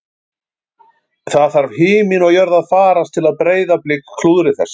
Það þarf himinn og jörð að farast til að Breiðablik klúðri þessu